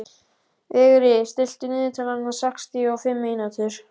Vigri, stilltu niðurteljara á sextíu og fimm mínútur.